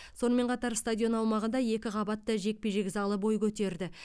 сонымен қатар стадион аумағында екі қабатты жекпе жек залы бой көтерді